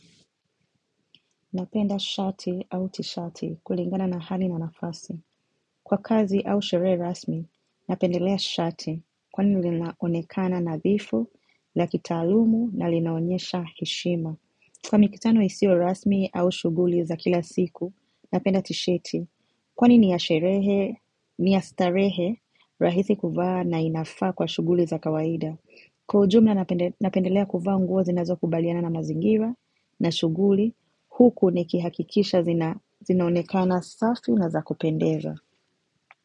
Napenda shati au tishati kulingana na hani na nafasi. Kwa kazi au sherehe rasmi, napendelea shati kwa ni linaonekana nadhifu, lakitaalumu na linaonyesha heshima. Kwa mikutano isio rasmi au shuguli za kila siku, napenda tisheti. Kwa ni ni ya sherehe, ni ya starehe, rahisii kuvaa na inafa kwa shuguli za kawaida. Kwa ujumla napendelea kuvaa nguo zinazo kubaliana na mazingira na shuguli huku nikihakikisha zinaonekana safi na zakupendeza.